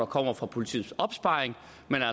kommer fra politiets opsparing